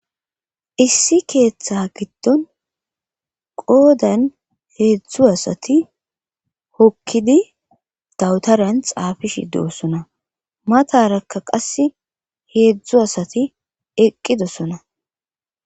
issi keeththe giddon qoodan heedzdzu asati hokkidi dawutaran xaafi shidu osona matarakka qas heedzdzu asati eqqidosona